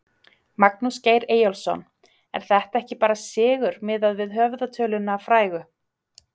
Magnús Geir Eyjólfsson: Er þetta ekki bara sigur miðað við höfðatöluna frægu?